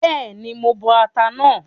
Bẹ́ẹ̀ni, mo máa bọ ata náà